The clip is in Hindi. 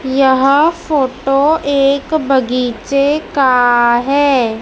यहां फोटो एक बगीचे का है।